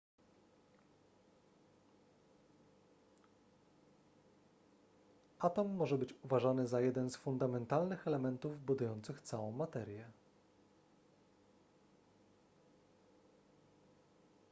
atom może być uważany za jeden z fundamentalnych elementów budujących całą materię